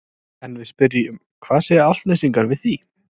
En við spyrjum hvað segja Álftnesingar við því?